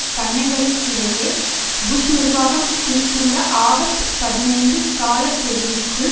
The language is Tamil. கன்னைகளுக்கிடையே புஷ் நிர்வாகம் குறித்துள்ள ஆகஸ்ட் பதினைந்து காலக்கெடுவிற்குள்